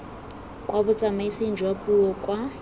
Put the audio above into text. kwa botsamaising jwa puo kwa